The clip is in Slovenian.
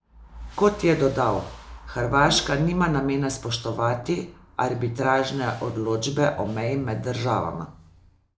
Kot je dodal, Hrvaška nima namena spoštovati arbitražne odločbe o meji med državama.